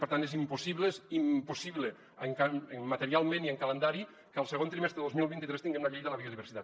per tant és impossible és impossible materialment i en calendari que el segon trimestre de dos mil vint tres tinguem la llei de la biodiversitat